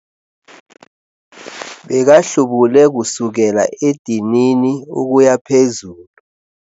Bekahlubule kusukela edinini ukuya phezulu.